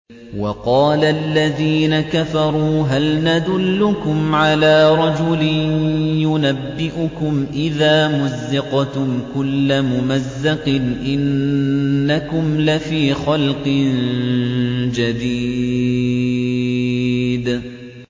وَقَالَ الَّذِينَ كَفَرُوا هَلْ نَدُلُّكُمْ عَلَىٰ رَجُلٍ يُنَبِّئُكُمْ إِذَا مُزِّقْتُمْ كُلَّ مُمَزَّقٍ إِنَّكُمْ لَفِي خَلْقٍ جَدِيدٍ